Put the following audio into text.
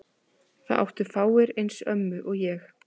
Það áttu fáir eins ömmu og ég.